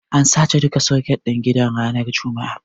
An sace duka soket ɗin gidan ranar juma'a.